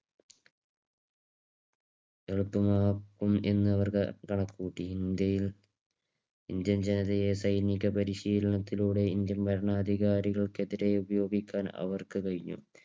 എളുപ്പമാക്കും എന്ന് അവർ കണക്കുകൂട്ടി. ഇന്ത്യയിൽ ഇന്ത്യൻ ജനതയെ സൈനിക പരിശീലനത്തിലൂടെ ഇന്ത്യൻ ഭരണാധികൾക്കെതിരെ ഉപയോഗിക്കാൻ അവർക്ക് കഴിഞ്ഞു.